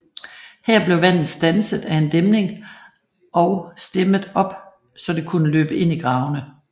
Her blev vandet standset af en dæmning og stemmet op så det kunne løbe ind i gravene